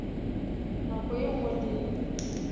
nako ye nngwe le ye